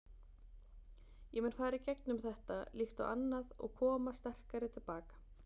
Ég mun fara í gegnum þetta, líkt og allt annað og koma sterkari til baka.